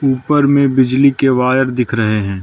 ऊपर में बिजली के वायर दिख रहे है।